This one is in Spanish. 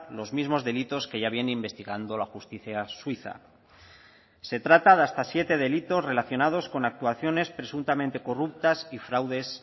los mismos delitos que ya viene investigando la justicia suiza se trata de hasta siete delitos relacionados con actuaciones presuntamente corruptas y fraudes